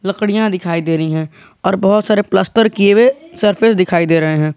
लकड़िया दिखाई दे रही है और बहोत सारे प्लस्तर किए हुए सरफेस दिखाई दे रहे हैं।